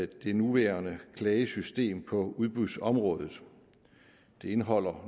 det nuværende klagesystem på udbudsområdet det indeholder